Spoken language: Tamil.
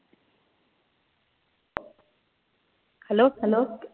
hello, hello